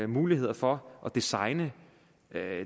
muligheder for at designe